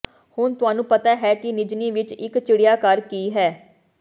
ਹੁਣ ਤੁਹਾਨੂੰ ਪਤਾ ਹੈ ਕਿ ਨਿਜ੍ਹਨੀ ਵਿੱਚ ਇੱਕ ਚਿੜੀਆਘਰ ਕੀ ਹੈ